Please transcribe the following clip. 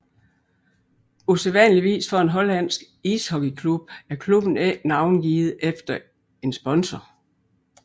Usædvanligvis for en hollandsk ishockeyklub er klubben ikke navngivet efter en sponsor